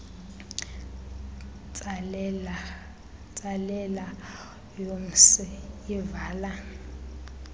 ntsalela yomsi ivala